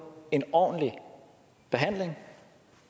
en ordentlig behandling